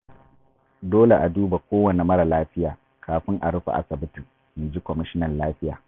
Dole ne a duba kowanne mara lafiya, kafin a rufe asibitin. In ji Kwamishinan lafiya.